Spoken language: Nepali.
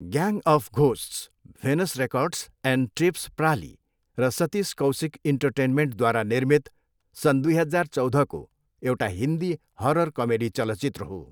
Gang of ghosts Venus records and tapes प्रालि र सतिस कौसिक इन्टरटेनमेन्टद्वारा निर्मित सन् दुई हजार चौधको एउटा हिन्दी हरर कमेडी चलचित्र हो।